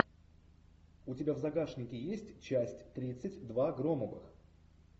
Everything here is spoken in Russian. у тебя в загашнике есть часть тридцать два громовых